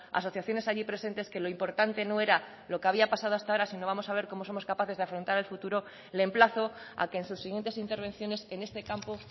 asociaciones allí presentes que lo importante no era lo que había pasado hasta ahora sino vamos a ver cómo somos capaces de afrontar el futuro le emplazo a que en sus siguientes intervenciones en este campo